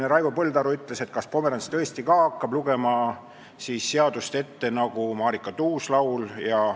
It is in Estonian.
Raivo Põldaru siin küsis, kas ka Pomerants hakkab tõesti seadust ette lugema nagu Marika Tuus-Laul.